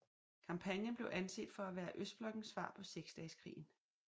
Kampagnen blev anset for at være Østblokkens svar på Seksdageskrigen